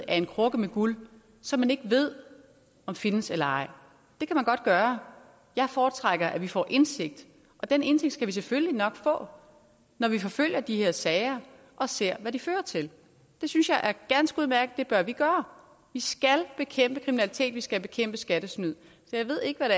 af en krukke med guld som man ikke ved om findes eller ej det kan man godt gøre jeg foretrækker at vi får indsigt og den indsigt skal vi selvfølgelig nok få når når vi forfølger de her sager og ser hvad de fører til det synes jeg er ganske udmærket og det gøre vi skal bekæmpe kriminalitet og vi skal bekæmpe skattesnyd så jeg ved ikke hvad